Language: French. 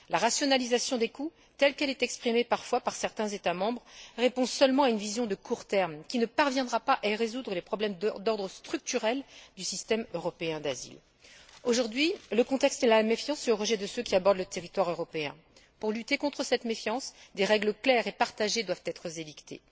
La rationalisation des coûts, telle qu'elle est exprimée parfois par certains États membres, répond seulement à une vision à court terme qui ne parviendra pas à résoudre les problèmes d'ordre structurel du système européen d'asile. Aujourd'hui, la tendance est à la méfiance et au rejet de ceux qui abordent le territoire européen. Pour lutter contre cette méfiance, des règles claires et partagées doivent être édictées.